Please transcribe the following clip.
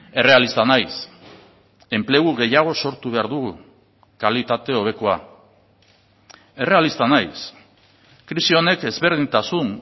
errealista naiz enplegu gehiago sortu behar dugu kalitate hobekoa errealista naiz krisi honek ezberdintasun